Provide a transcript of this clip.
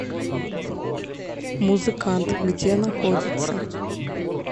музыкант где находится